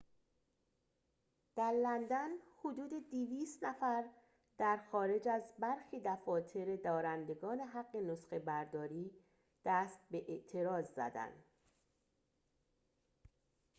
در لندن حدود ۲۰۰ نفر در خارج از برخی دفاتر دارندگان حق نسخه‌برداری دست به اعتراض زدند